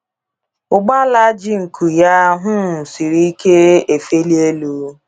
Ụgbala ji nku ya um siri ike efeli elu.